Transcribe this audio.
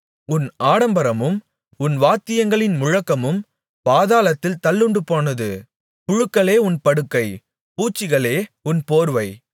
உன் ஆடம்பரமும் உன் வாத்தியங்களின் முழக்கமும் பாதாளத்தில் தள்ளுண்டுபோனது புழுக்களே உன் படுக்கை பூச்சிகளே உன் போர்வை